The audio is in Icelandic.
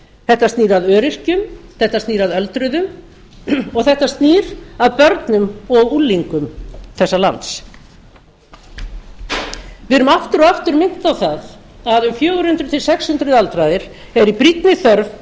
þetta snýr að öryrkjum þetta snýr að öldruðu og þetta snýr að börnum og unglingum þessa lands við erum aftur og aftur minnt á það að um fjögur hundruð til sex hundruð aldraðir eru í brýnni